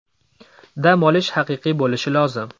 Dam olish haqiqiy bo‘lishi lozim.